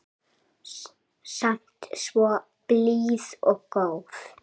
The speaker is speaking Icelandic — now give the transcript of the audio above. Samt svo blíð og góð.